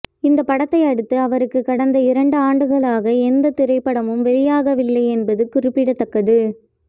இந்த படத்தை அடுத்து அவருக்கு கடந்த இரண்டு ஆண்டுகளாக எந்த திரைப்படமும் வெளியாகவில்லை என்பது குறிப்பிடத்தக்கது